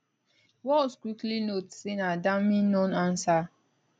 walz quickly note say na damning nonanswer